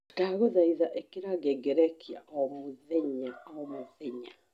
ndagũthaĩtha ĩkira ngengerekia mũthenya o mũthenya.